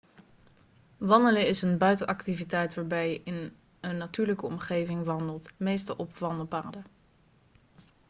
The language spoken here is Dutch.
wandelen is een buitenactiviteit waarbij je in een natuurlijke omgeving wandelt meestal op wandelpaden